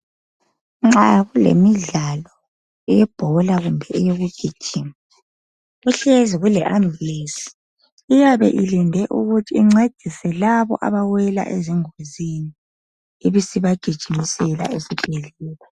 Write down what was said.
Nxa kulemidlalo eyebhola kumbe eyokugijima kuhlezi kuleambulensi iyabe ilinde ukuthi incedise labo abawela ezingozini ibisibagijimisela esibhedlela.